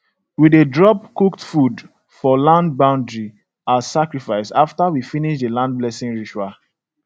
we dey drop cooked food for land boundary as sacrifice after we finish the land blessing ritual